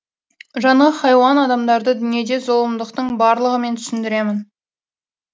жаны хайуан адамдарды дүниеде зұлымдықтың барлығымен түсіндіремін